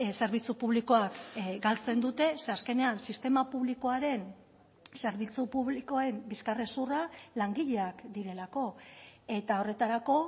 zerbitzu publikoak galtzen dute ze azkenean sistema publikoaren zerbitzu publikoen bizkarrezurra langileak direlako eta horretarako